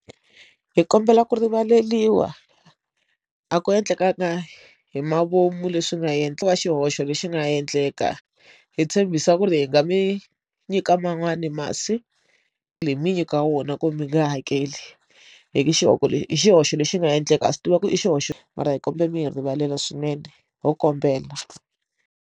Hi kombela ku rivaleriwa a ku endlekaka hi mavomu leswi nga hi endliwa xihoxo lexi nga endleka hi tshembisa ku ri hi nga mi nyika man'wani masi hi mi nyika wona ku mi nge hakeli hi ku xiqhoko lexi i xihoxo lexi nga endleka a swi tiva ku i xihoxo mara hi kombela mi hi rivalela swinene ho kombela.